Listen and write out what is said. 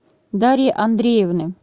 дарьи андреевны